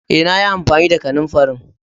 Eh, na yi amfani da kananfarin.